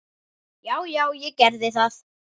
Já, já, ég gerði það.